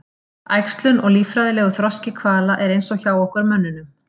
Æxlun og líffræðilegur þroski hvala er eins og hjá okkur mönnunum.